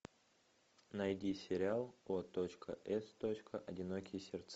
найди сериал о точка эс точка одинокие сердца